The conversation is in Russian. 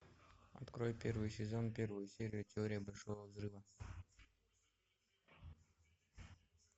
открой первый сезон первую серию теория большого взрыва